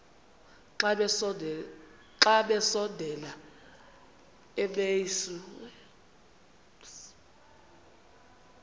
xa besondela emasuie